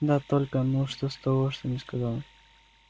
да только ну что с того что не сказал